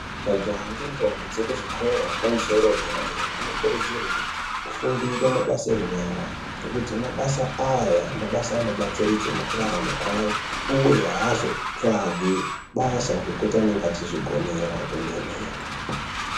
Majaha ngendombi dzekuzvikora yepamusoro yederadera anokurudzirwe kufundire mabasa enyara ngekuti mabasa aya mabasa anobatsiridze mukurarama kwayo, uye haazotsvagi basa ngekuti anenge achizvigonera kwemene.